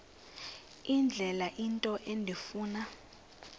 indlela into endifuna